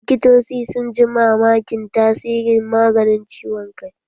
Likitoci sun ji mamakin tasirin maganin ciwon kan